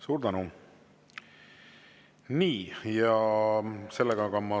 Suur tänu!